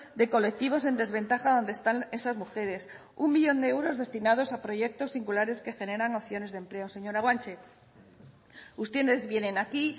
de colectivos en desventaja donde están esas mujeres uno millón de euros destinados a proyectos singulares que generan opciones de empleo señora guanche ustedes vienen aquí